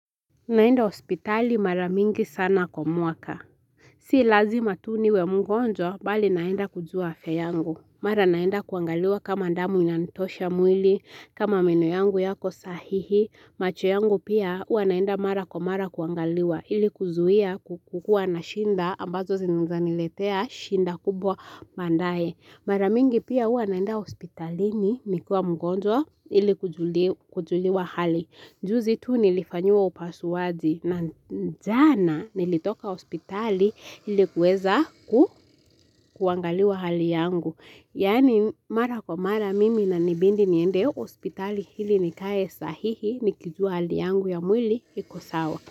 Naenda hospitali mara mingi sana kwa mwaka. Si lazima tu niwe mgonjwa bali naenda kujua afya yangu. Mara naenda kuangaliwa kama damu inanitosha mwili, kama meno yangu yako sahihi. Macho yangu pia huwa naenda mara kwa mara kuangaliwa ili kuzuia kukukua na shinda ambazo zinaeza niletea shinda kubwa baadaye. Mara mingi pia huwa naenda hospitali nikiwa mgonjwa ili kujuliwa hali. Juzi tu nilifanyiwa upasuaji na jana nilitoka hospitali ili kuweza kuangaliwa hali yangu. Yani mara kwa mara mimi inanibidi niende hospitali ili nikae sahihi nikijua hali yangu ya mwili iko sawa.